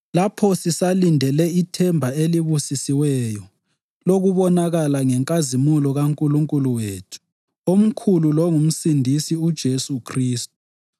lapho sisalindele ithemba elibusisiweyo lokubonakala ngenkazimulo kaNkulunkulu wethu omkhulu longuMsindisi uJesu Khristu